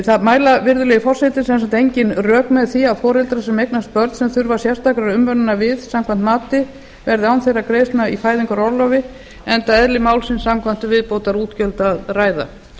það mæla virðulegi forseti sem sagt engin rök með því að foreldrar sem eignast börn sem þurfa sérstakrar umönnunar við samkvæmt mati verði án þeirra greiðslna í fæðingarorlofi enda eðli málsins samkvæmt um viðbótarútgjöld að ræða